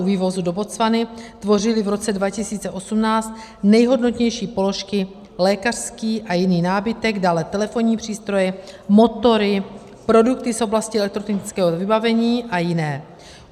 U vývozu do Botswany tvořily v roce 2018 nejhodnotnější položky lékařský a jiný nábytek, dále telefonní přístroje, motory, produkty z oblasti elektrotechnického vybavení a jiné.